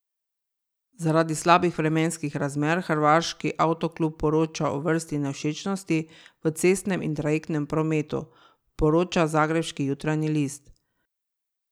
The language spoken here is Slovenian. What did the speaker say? Zaradi slabih vremenskih razmer hrvaški avtoklub poroča o vrsti nevšečnosti v cestnem in trajektnem prometu, poroča zagrebški Jutarnji list.